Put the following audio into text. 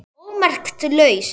ómerkt lausn